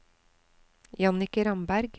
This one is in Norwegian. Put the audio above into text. Jannicke Ramberg